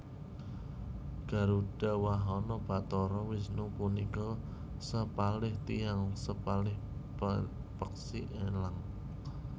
Garudha wahana bathara Wisnu punika sepalih tiyang sepalih peksi elang